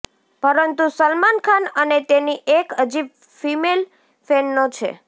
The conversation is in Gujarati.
પરંતુ સલમાન ખાન અને તેની એક અજીબ ફિમેલ ફેનનો છે